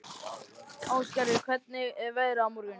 Æsgerður, hvernig er veðrið á morgun?